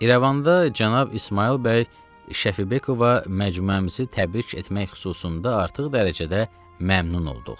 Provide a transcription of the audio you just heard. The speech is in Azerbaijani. İrəvanda cənab İsmayıl bəy Şəfibekova məcmuəmizi təbrik etmək xüsusunda artıq dərəcədə məmnun olduq.